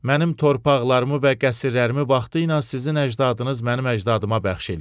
Mənim torpaqlarımı və qəsrlərimi vaxtilə sizin əcdadınız mənim əcdadıma bəxş eləyib.